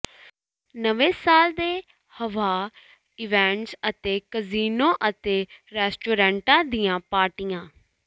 ਨਵੇਂ ਸਾਲ ਦੇ ਹੱਵਾਹ ਇਵੈਂਟਸ ਅਤੇ ਕਜ਼ੀਨੋ ਅਤੇ ਰੈਸਟੋਰੈਂਟਾਂ ਦੀਆਂ ਪਾਰਟੀਆਂ